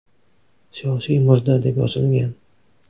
Siyosiy murda” deb yozilgan.